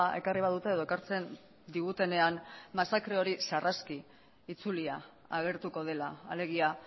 ekarri badute edo ekartzen digutenean masakre hori sarraski itzulia agertuko dela alegia